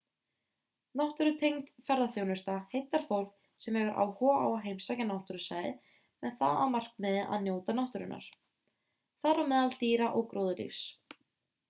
náttúrutengd ferðaþjónusta heillar fólk sem hefur áhuga á að heimsækja náttúrusvæði með það að markmiði að njóta náttúrunnar þar á meðal dýra og gróðurlífs